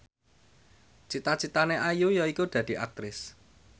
cita citane Ayu yaiku dadi Aktris